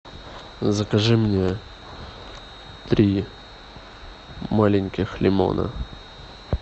закажи мне три маленьких лимона